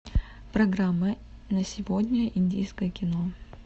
программа на сегодня индийское кино